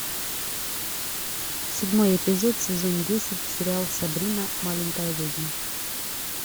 седьмой эпизод сезон десять сериал сабрина маленькая ведьма